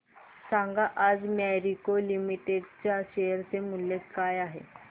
सांगा आज मॅरिको लिमिटेड च्या शेअर चे मूल्य काय आहे